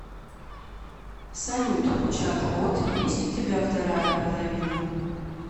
салют чат бот есть у тебя вторая половина